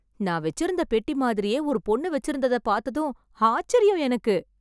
நான் வச்சுருந்தா பெட்டி மாதிரியே ஒரு பொண்ணு வச்சுருந்த பார்த்ததும் ஆச்சரியம் எனக்கு